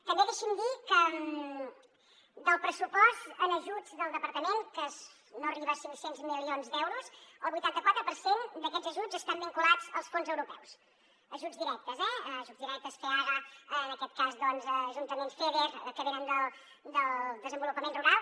també deixi’m dir que del pressupost en ajuts del departament que no arriba a cinc cents milions d’euros el vuitanta quatre per cent d’aquests ajuts estan vinculats als fons europeus ajuts directes eh feaga en aquest cas doncs a ajuntaments feder que venen del desenvolupament rural